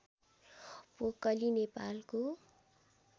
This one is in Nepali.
पोकली नेपालको